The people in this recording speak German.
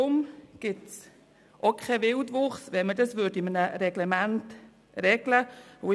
Es gäbe auch keinen Wildwuchs, wenn man es in einem Reglement regeln würde.